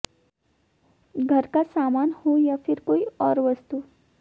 घर का सामन हो या फिर कोई और वास्तु